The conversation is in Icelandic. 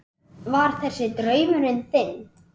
Hver var þessi draumur þinn?